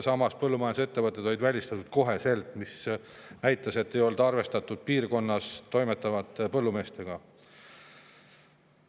Paraku põllumajandusettevõtted olid välistatud, mis näitas, et ei olnud arvestatud piirkonnas toimetavate põllumeestega.